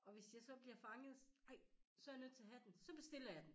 Og hvis jeg så bliver fanget ej så jeg nødt til at have den så bestiller jeg den